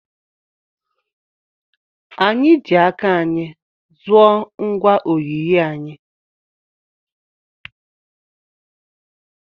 Anyị ji aka anyị zụọ ngwa oyiyi anyị.